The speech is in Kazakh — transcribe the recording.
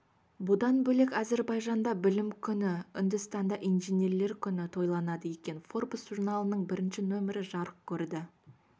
бұдан бөлек әзербайжанда білім күні үндістанда инженерлер күні тойланады екен форбс журналының бірінші нөмірі жарық көрді